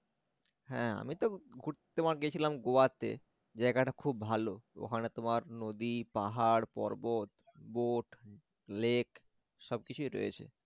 হ্যাঁ আমি তো ঘুরতে তোমার গিয়েছিলাম গোয়া তে জায়গাটা খুব ভাল ওখানে তোমার নদী, পাহাড়, পর্বত, boat lake সবকিছুই রয়েছে